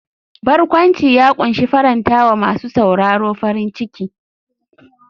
Barkwanci ya kunshi faranta wa masu sauraro farin ciki.